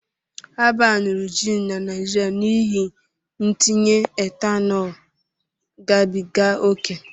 A baanuru jiin na Naịjirịa n'ihi ntinye etanol gabiga ókè